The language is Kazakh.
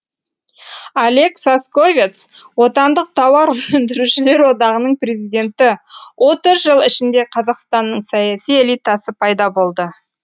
олег сосковец отандық тауар өндірушілер одағының президенті отыз жыл ішінде қазақстанның саяси элитасы пайда болды